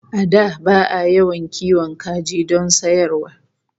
A da ba'a yawan kiwon kaji don sayarwa